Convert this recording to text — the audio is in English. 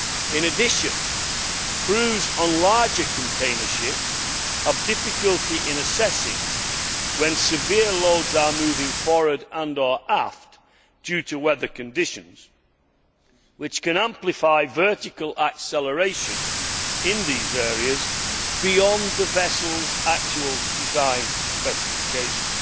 In addition, crews on larger container ships have difficulty in assessing when severe loads are moving forward and or aft due to weather conditions, which can amplify vertical acceleration in these areas beyond the vessel's actual design specifications.